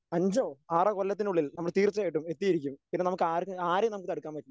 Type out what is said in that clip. അഞ്ചോ ആറോ കൊല്ലത്തിനുള്ളിൽ നമ്മള് തീർച്ചയായിട്ടും എത്തിയിരിക്കും. പിന്നെ നമുക്കാർക്കും ആരേം നമുക്ക് തടുക്കാൻ പറ്റില്ല.